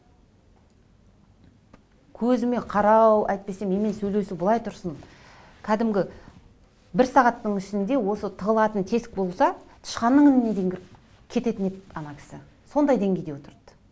көзіме қарау әйтпесе менімен сөйлесу былай тұрсын кәдімгі бір сағаттың ішінде осы тығылатын тесік болса тышқаннын ініне дейін кіріп кететін еді ана кісі сондай деңгейде отырды